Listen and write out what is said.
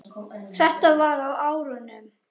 Þetta var á árunum